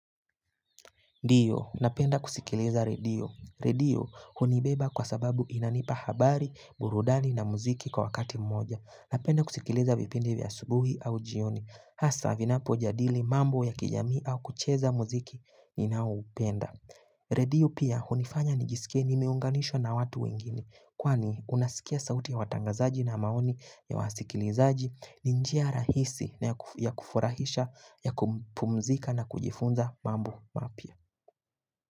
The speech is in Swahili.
Ndio, napenda kusikiliza redio redio hunibeba kwa sababu inanipa habari, burudani na muziki kwa wakati mmoja. Napenda kusikiliza vipindi vya asubuhi au jioni. Hasa vinapojadili mambo ya kijamii au kucheza muziki inaoupenda. Redio pia hunifanya nijisikie nimeunganishwa na watu wengine kwani unasikia sauti ya watangazaji na maoni ya wasikilizaji ni njia rahisi ya kufurahisha ya kupumzika na kujifunza mambo mapya.